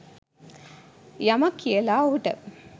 යමක් කියලා ඔහුට.